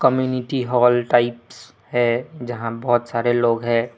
Community hall types है जहां बहुत सारे लोग हैं।